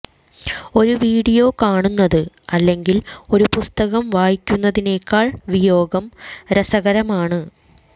ഒരു വീഡിയോ കാണുന്നത് അല്ലെങ്കിൽ ഒരു പുസ്തകം വായിക്കുന്നതിനേക്കാൾ വിയോഗം രസകരമാണ്